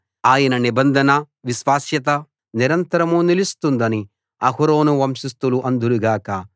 ఆయన నిబంధన విశ్వాస్యత నిరంతరం నిలుస్తుందని అహరోను వంశస్థులు అందురు గాక